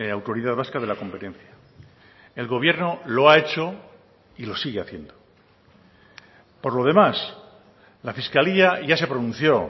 autoridad vasca de la competencia el gobierno lo ha hecho y lo sigue haciendo por lo demás la fiscalía ya se pronunció